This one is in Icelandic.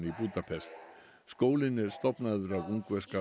í Búdapest háskólinn var stofnaður af ungverska